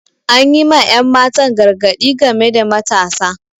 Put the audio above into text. Anyi ma ƴan matan gargadi game da matasa